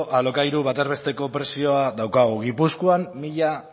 alokairu bataz besteko prezioa daukagu gipuzkoan mila